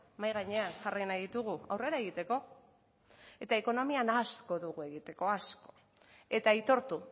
mahai gainean jarri nahi ditugu aurrera egiteko eta ekonomian asko dugu egiteko asko eta aitortu